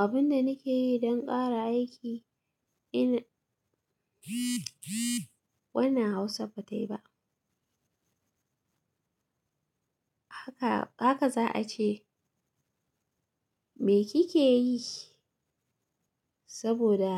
Abin da nake yi don ƙara aiki ina wannan Hausa ba ta yi ba. Haka, haka za a ce. Me kike yi? Saboda